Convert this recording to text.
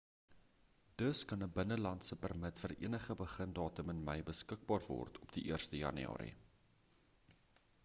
dus kan 'n binnelandse permit vir enige begindatum in mei beskikbaar word op die 1ste jan